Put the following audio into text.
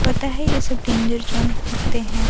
पता है ये सब डेंजर जोन होते है ।